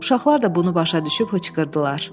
Uşaqlar da bunu başa düşüb hıçqırdılar.